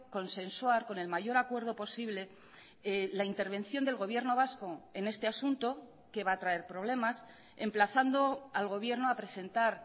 consensuar con el mayor acuerdo posible la intervención del gobierno vasco en este asunto que va a traer problemas emplazando al gobierno a presentar